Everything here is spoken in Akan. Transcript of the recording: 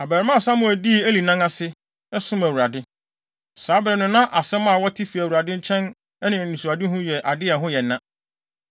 Abarimaa Samuel dii Eli nan ase, som Awurade. Saa bere no na asɛm a wɔte fi Awurade nkyɛn ne anisoadehu yɛ ade a ɛho yɛ na.